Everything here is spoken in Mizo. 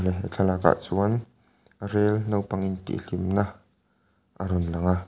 he thlalakah chuan rel naupang in tih hlimna a rawn lang a.